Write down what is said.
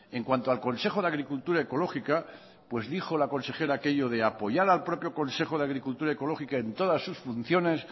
en cuanto al consejo de agricultura ecológica pues dijo la consejera aquello de apoyar al propio consejo de agricultura ecológica en todas sus funciones